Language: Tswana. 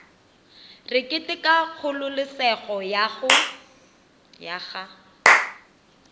re keteka kgololesego ya ga